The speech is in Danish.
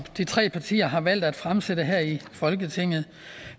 de tre partier har valgt at fremsætte her i folketinget